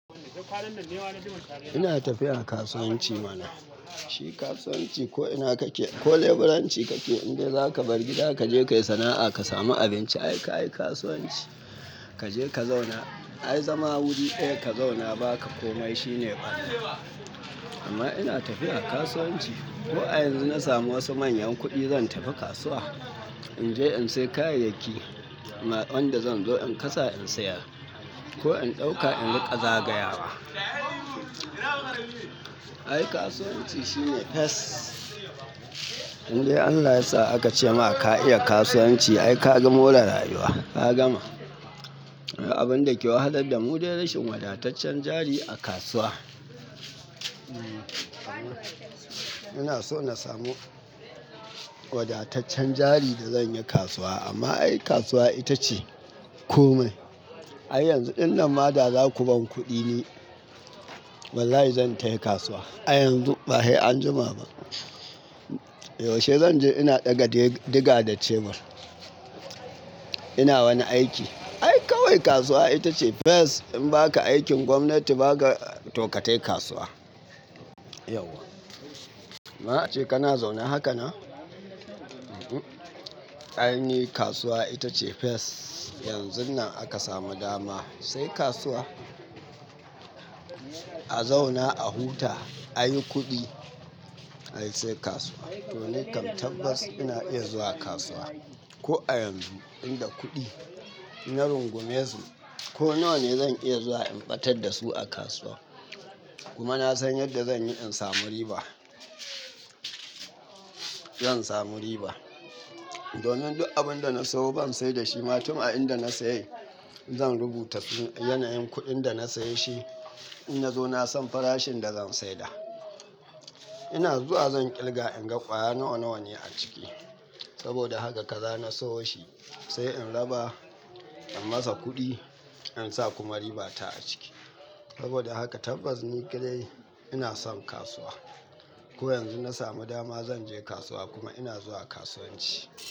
Ina tafiya kasuwanci mana. Shi kasuwanci ko ina kake, ko leburanci kake indai zaka bar gida kaje kayi sana'a kasamu abinci, ai kayi kasuwanci. Kaje ka zauna, ai zama wuri ɗaya ka zauna baka komai shine ƙarya. Amma ina tafiya kasuwanci. Ko a yanzu nasamu wasu manyan kuɗi zan tafi kasuwa. Inje in sayi kayayyaki wanda zanzo in kasa in siyar. Ko in ɗauka in riƙa zagayawa. Ai kasuwanci shine fess. Indai Allah yasa akace maka ka iya kasuwanci ai ka lga more rayuwa, ka gama. Abunda ke wahalar damu dai rashin wadataccen jari a kasuwa. Inaso nasamu wadataccen jari da zanyi kasuwa amma ai kasuwa itace komai. Ai yanzu dinnan ma da zaku ban kuɗi ni, wallahi zan tafi kasuwa. A yanzu bahai anjima ba. Yaushe zanje ina ɗiga da shebur. Ina wani aiki. Ai kawai kasuwa itace fes in baka aikin gwamnati baka toka tafi kasuwa. Yauwa. Amma ace kana zaune hakanan? Aini kasuwa itace fes. Yanzunnan aka samu dama, sai kasuwa. A zauna a huta ayi kudi ai sai kasuwa. To nikam tabbas ina iya zuwa kasuwa. Ko a yanzu, inda kuɗi na rungumesu ko nawane zan iya zuwa in ɓatar dasu a kasuwa. Kuma nasan yadda zanyi insamu riba. In samu riba. Domin duk abinda na sawo ban saidashi ma tun a inda na siyai zan rubuta yanayin kudin dana siyeshi in nazo nasan farashin dazan saida. Ina zuwa zan kirga inga kwaya nawa-nawane aciki. Saboda haka kaza nasayo shi, sai in raba, in masa kuɗi, insa kuma ribata aciki. Saboda haka tabbas ni ƙadai inason kasuwa. Ko yanzu nasamu dama zanje kasuwa kuma ina zuwa kasuwanci.